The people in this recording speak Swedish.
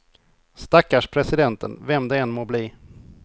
Stackars presidenten, vem det än må bli.